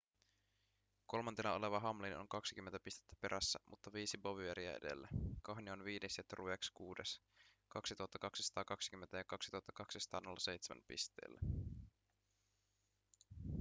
kolmantena oleva hamlin on 20 pistettä perässä mutta viisi bowyeria edellä kahne on viides ja truex kuudes 2 220 ja 2 207 pisteellä